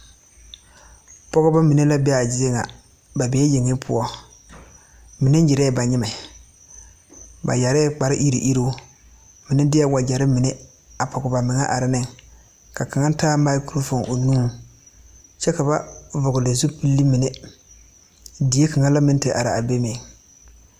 Pɔgebɔ mine la be a zie ŋa ba bee yeŋe poɔ mine nyirɛɛ ba nyimɛ ba yɛrɛɛ kpare iriŋ iriŋ mine deɛɛ wagyɛre mine a pɔge ba meŋɛ are neŋ ka kaŋa taa mikrofoon o nu eŋɛŋ kyɛ ka ba vɔgle zupile mine die kaŋa la meŋ ti are a be meŋ.